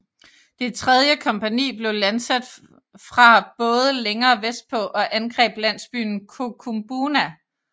Det tredje kompagni blev landsat fra både længere vestpå og angreb landsbyen Kokumbuna